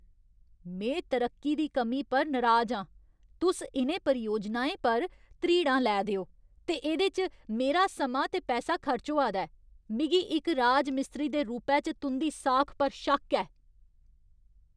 में तरक्की दी कमी पर नराज आं। तुस इ'नें परियोजनें पर ध्रीड़ां लै दे ओ ते एह्दे च मेरा समां ते पैसा खर्च होआ दा ऐ, मिगी इक राजमिस्त्री दे रूपै च तुं'दी साख पर शक्क ऐ।